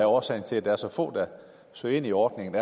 årsagen til at der er så få der søger ind i ordningen